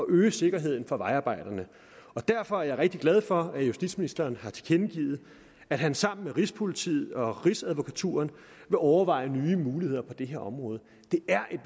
øge sikkerheden for vejarbejderne derfor er vi rigtig glade for at justitsministeren har tilkendegivet at han sammen med rigspolitiet og rigsadvokaturen vil overveje nye muligheder på det her område det er